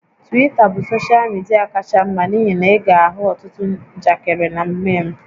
Twita bụ soshal midia kacha mma n'ihi na ị ga-ahụ ọtụtụ njakịrị na meem